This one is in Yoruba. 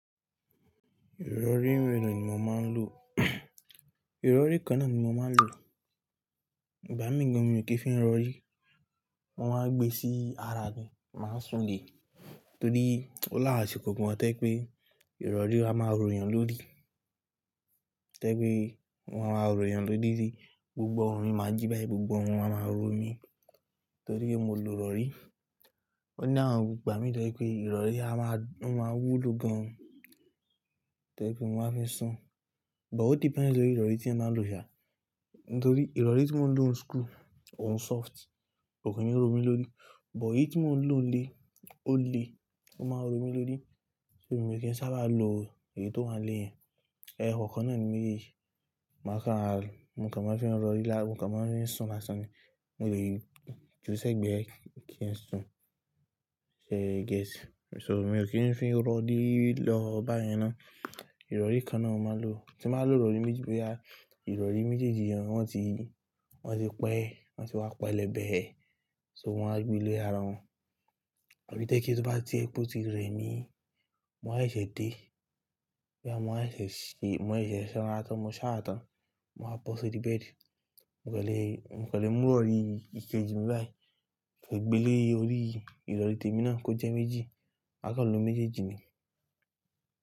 Ìrọ̀rí mẹ́lo ní mo máa ń lò? Ìrọ̀rí kan náà ni mo máa ń lò. Ìgbà míì gan mi ò kí ń fi ń rọ̀rí. Wọ́n máa ń gbé sí ara ni, màá sùn lẹ, torí ó láwọn ásìkò kan. Torípé ìrọ̀rí a máa ròyàn lórí. Tẹ́ pé wọn a máa ròyàn lórí rí, gbogbo orin máa jí báyìí, gbogbo o wọn a máa ro mi torí mo lo rọ̀rí. Òní àwọn gbà mí tẹ́ je pé ìrọ̀rí a máa, wọn máa wú lo gan. Tẹ́ je pé mo máa fi sùn, but o depends lórí ìrọ̀rí tí ẹ máa ń lò sia. Nítorí ìrọ̀rí tí mò ń lò ní school òun soft, ò kí ń ro mi lórí, but èyí tí mò ń lò le, o le, ó máa ń ro mi lórí. So mi ò kí ń sábà lo èyí tó máa ń le yẹn. Ẹ̀họ́ kan náà ni mí lè yí, màá kan ha, nǹ kan máa ń fi ń rọ̀rí lár, nǹ kan máa ń rí sùn lásán ni. Mo lè ju sẹ́gbẹ̀ẹ́ kí ẹ sùn. Shey you get? So mi ò kí ń fi ń rọ̀rí lọ báyẹn ná. Ìrọ̀rí kan náà mo máa ń lò. Tí mo bá lo rọ̀rí méjì bóyá ìrọ̀rí méjèèjì wọn ti, wọn ti pẹ́, wọn ti wá pẹlẹbẹ, so mo wá gbé lé ara wọn. Àbí tẹ́ kí ó bá ti ri pe o ti rẹ mi, mo máa ṣẹ̀ ẹ dé. Bóyá mo máa ṣẹ̀ ṣe, mo se sanra tán, mo sa gan, mo máa wa bo sórí bẹ́ẹ̀di. Nǹ kan lè, nǹ kan lè mú rọ̀rí ìkejì mi báyìí, kí ó gbé lé orí ìrọ̀rí tèmi náà kó jẹ́ méjì. A kan lò méjeji ni.